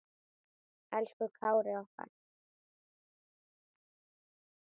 Elsku Kári okkar.